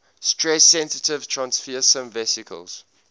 stress sensitive transfersome vesicles